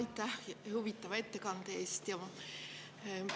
Aitäh teile huvitava ettekande eest!